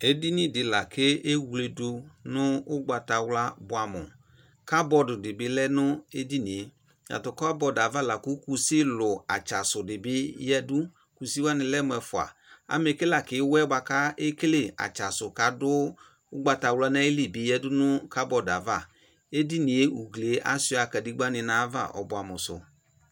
Edini di laku ewledu nʋ ugbata wla buanu kabod dibi lɛnʋ edinie tatʋ kabod yɛ avala kʋ kʋsilu atsasu atsasʋ dibi yadu kʋsi wani lemʋ ɛfʋa amɛ ke lakʋ iwe buaku ekele atsasʋ kadu ugbatawla nʋ ayili bi yadu nʋ kabod yɛ ava esuiabkadegba ni nʋ ugliye nʋ edinie ɔbuamu sʋ